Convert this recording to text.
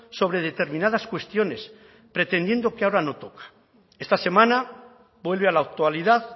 sobre determinadas cuestiones pretendiendo que ahora no toca esta semana vuelve a la actualidad